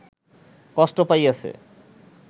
কষ্ট পাইয়াছে